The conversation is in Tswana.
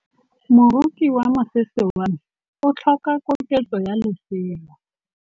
Moroki wa mosese wa me o tlhoka koketsô ya lesela.